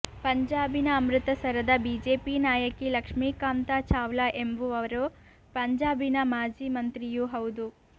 ಪಂಜಾಬಿನ ಅಮೃತಸರದ ಬಿಜೆಪಿ ನಾಯಕಿ ಲಕ್ಷ್ಮಿ ಕಾಂತಾ ಚಾವ್ಲಾ ಎಂಬುವರು ಪಂಜಾಬಿನ ಮಾಜಿ ಮಂತ್ರಿಯೂ ಹೌದು